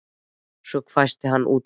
Svo hvæsti hann út úr sér